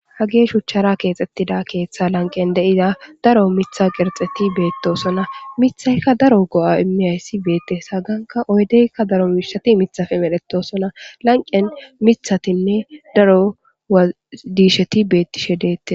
Ha ge shuchchara keexxettida keeththa lanqen de'ida daro mitha qerxeti beettosona mithayka daro go'a imiyayssi beette haganka oydeykka daro miishati mithafe medhetosona lanqen mithatinne daro adiisheti beettishe deette.